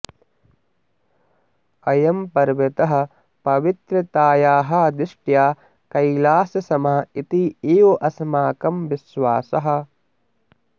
अयं पर्वतः पवित्रतायाः दृष्ट्या कैलाससमः इति एव अस्माकं विश्वासः